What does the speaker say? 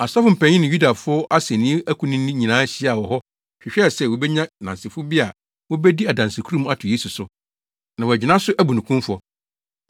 Asɔfo mpanyin ne Yudafo asennifo akunini nyinaa hyiaa wɔ hɔ hwehwɛɛ sɛ wobenya nnansefo bi a wobedi adansekurum ato Yesu so, na wɔagyina so abu no kumfɔ.